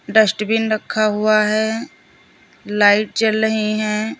Dustbin रखा हुआ है लाइट जल रही हैं।